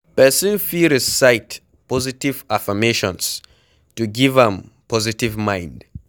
Person fit recite positive affirmations to give am positive mind